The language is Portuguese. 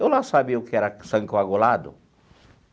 Eu lá sabia o que era sangue coagulado?